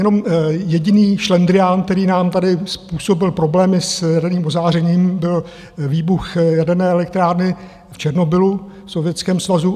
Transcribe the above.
Jenom jediný šlendrián, který nám tady způsobil problém s jaderným ozářením, byl výbuch jaderné elektrárny v Černobylu, v Sovětském svazu.